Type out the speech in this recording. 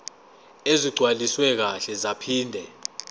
ezigcwaliswe kahle zaphinde